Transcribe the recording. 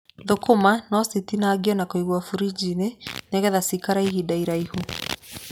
Thũkũma no citinangio na kũigwo burinji-inĩ nĩgetha cikare ihinda iraihu.